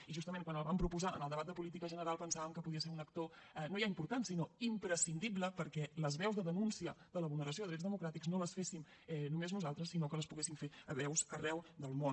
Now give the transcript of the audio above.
i justament quan la vam proposar en el debat de política general pensàvem que podia ser un actor no ja important sinó imprescindible perquè les veus de denúncia de la vulneració de drets democràtics no les féssim només nosaltres sinó que les poguessin fer veus arreu del món